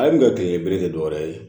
Ale min ka kile bilen tɛ dɔ wɛrɛ ye